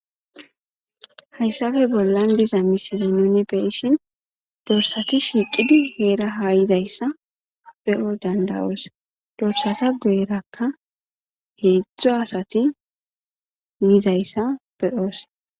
Haysappe bolla diza misiliya nuni beyishin dorisata shiqi Hera ha yizaysa beyo dandayos guyera hezhzhu asati yizayisa beyos